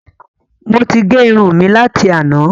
Mo ti gé irun mi láti àná